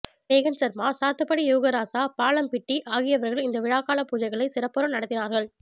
மேகன் சர்மா சாத்துப்படி யோகராசா பாலம்பிட்டி ஆகியவர்கள் இந்த விழாக்கால பூஜைகளை சிறப்புற நடாத்திநார்கள்